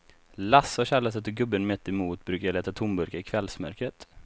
Lasse och Kjell har sett hur gubben mittemot brukar leta tomburkar i kvällsmörkret.